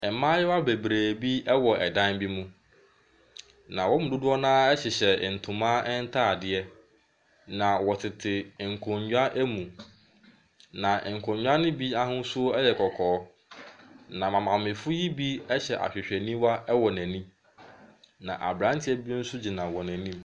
Mmayewa bebree bi wɔ dan bi mu, na wɔn mu dodoɔ no ara hyehyɛ ntoma ntadeɛ, na wɔtete nkonnwa mu, na nkonnwa no bi ahosuo yɛ kɔkɔɔ, na maamefoɔ yi bi hyɛ ahwehwɛniwa wɔ n'ani, na aberanteɛ bi nso gyina wɔn anim.